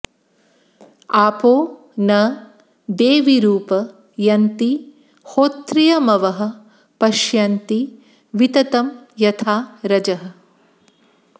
आपो न देवीरुप यन्ति होत्रियमवः पश्यन्ति विततं यथा रजः